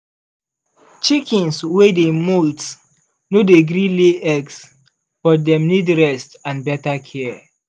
chickens wey dey molt no dey gree lay eggs but dem need rest and better care.